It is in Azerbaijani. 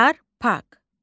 Yarpak.